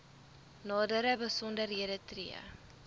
nadere besonderhede tree